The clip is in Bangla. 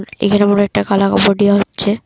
এখানে মনে হয় একটা কালা কাপড় দিয়া হচ্ছে।